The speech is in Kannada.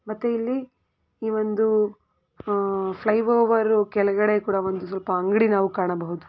ಮತ್ತೆ ಇಲ್ಲಿ ಒಂದು ಆಹ್ ಫ್ಲೈಓವರ್ ಕೆಳಗಡೆ ಕೂಡ ಸ್ವಲ್ಪ ಅಂಗಡಿಗಳು ಸಹ ಕಾಣಬಹುದು --